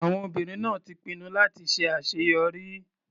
Àwọn obìnrin náà ti pinnu láti ṣe àṣeyọrí.